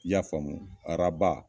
I ya faamu? Araba